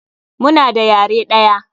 Muna da yare ɗaya.